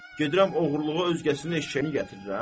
Gedirəm oğurluğa özgəsinin eşşəyini gətirirəm?